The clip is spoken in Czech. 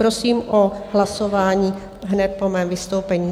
Prosím o hlasování hned po mém vystoupení.